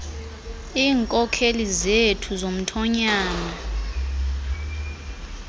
iinkokheli zethu zomthonyama